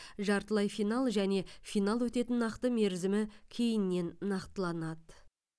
жартылай финал және финал өтетін нақты мерзімі кейіннен нақтыланады